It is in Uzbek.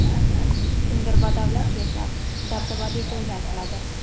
Kimdir badavlat yashab, dabdabali to‘ylar qiladi.